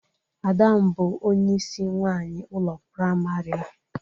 Ada m bụ onyeisi nwaanyị ụlọ prịmarị a.